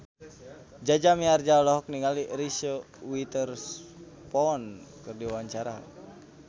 Jaja Mihardja olohok ningali Reese Witherspoon keur diwawancara